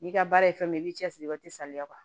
N'i ka baara ye fɛn min ye i b'i cɛ siri i bɛ te saliba